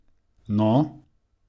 No?